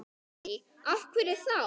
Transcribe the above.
Lillý: Af hverju þá?